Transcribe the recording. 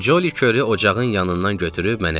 Ccoli körü ocağın yanından götürüb mənə verdi.